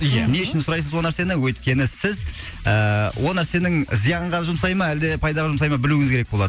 ия не үшін сұрайсыз ол нәрсені өйткені сіз ііі ол нәрсенің зиянға жұмсайды ма әлде пайдаға жұмсайды ма білуіңіз керек болады